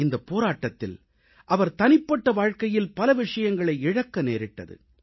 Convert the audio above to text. இந்தப் போராட்டத்தில் அவர் தனிப்பட்ட வாழ்க்கையில் பல விஷயங்களை இழக்க நேரிட்டது